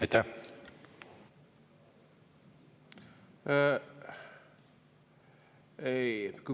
Aitäh!